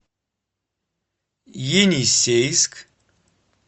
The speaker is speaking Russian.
енисейск